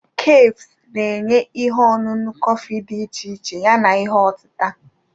kefus na-enye ihe ọṅụṅụ kọfị dị iche iche yana ihe otita.